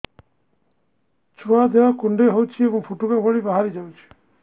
ଛୁଆ ଦେହ କୁଣ୍ଡେଇ ହଉଛି ଏବଂ ଫୁଟୁକା ଭଳି ବାହାରିଯାଉଛି